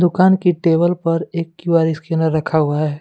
दुकान की टेबल पर एक क्यू_आर स्कैनर रखा हुआ है।